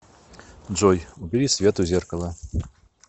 джой убери свет у зеркала